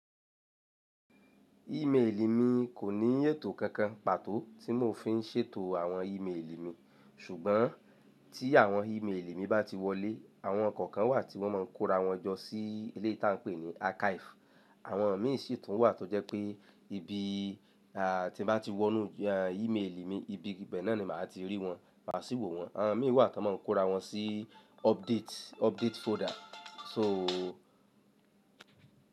Email mi kò ní ètò kankan pàtó tí mò ń fi ń ṣètò àwọn email mi, ṣùgbọ́n tí àwọn email mi bá ti wọlé, àwọn kokan wà tí wọ́n máa ń kóra wọn jọ sí eléyi táa ń pè ní archive. Àwọn míì sí tún wà tó jẹ́ pé ibi, à tí n bá ti wọnú email mi, ibi bẹ́ẹ̀ náà ni màá ti rí wọn, máa sì wò wọ́n. Àwọn míì wà tí wọ́n máa ń kóra wọn sí update, update folder. So.